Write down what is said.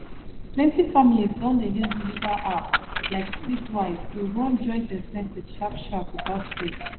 plenty families don dey use digital app like splitwise to run joint expenses sharpsharp without stress